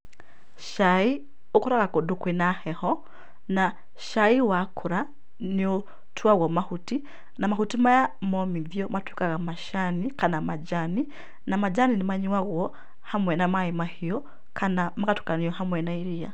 Cai ũkũraga kũndũ kwĩ na heho na cai wakũra, nĩ ũtuagwo mahuti na mahuti maya momithio matuĩkaga macani kana majani na majani nĩ manyuagwo hamwe na maĩ mahiũ kana magatukanio hamwe na iria .